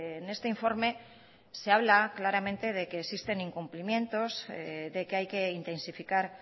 en este informe se habla claramente de que existen incumplimientos de que hay que intensificar